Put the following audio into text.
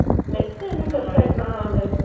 veg என்ன பெருசா எடுக்கப் போகுது